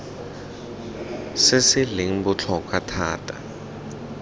se se leng botlhokwa thata